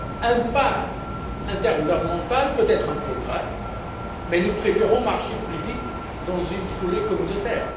Un pas intergouvernemental peut être un progrès, mais nous préférons marcher plus vite dans une foulée communautaire.